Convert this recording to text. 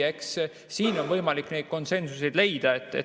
Eks siin on võimalik meil konsensust leida.